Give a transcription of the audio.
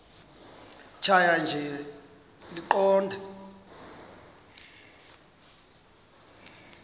tjhaya nje iqondee